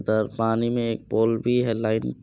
उधर पानी में एक पोल भी है लाइन --